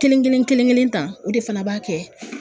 Kelen kelen kelen kelen tan, o de fana b'a kɛ